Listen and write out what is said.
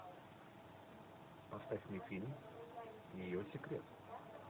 поставь мне фильм ее секрет